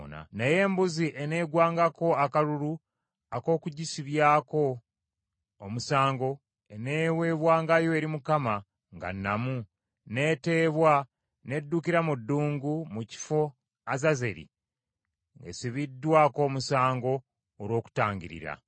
Naye embuzi eneegwangako akalulu ak’okugissibyako omusango, eneeweebwangayo eri Mukama nga nnamu, n’eteebwa n’eddukira mu ddungu mu kifo Azazeri ng’esibiddwako omusango olw’okutangirira.